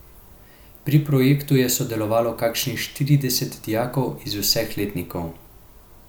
Pri projektu je sodelovalo kakšnih štirideset dijakov iz vseh letnikov.